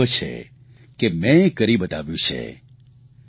અને મને ગર્વ છે કે મે એ કરી બતાવ્યું છે